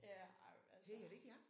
Ja ej men altså